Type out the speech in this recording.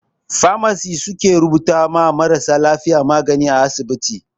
"Pharmacist" su ke rubuta ma marasa lafiya magani a asibiti.